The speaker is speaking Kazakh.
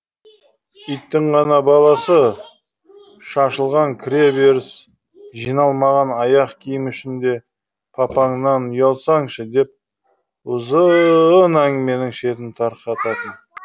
иттің ғана баласы шашылған кіре беріс жиналмаған аяқ киім үшін де папаңнан ұялсаңшы деп ұзыыыыын әңгіменің шетін тарқататын